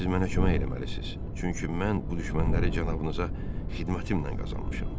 Siz mənə kömək eləməlisiniz, çünki mən bu düşmənləri cənabınıza xidmətimlə qazanmışam.